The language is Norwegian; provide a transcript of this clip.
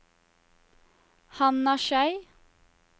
Hanna Schei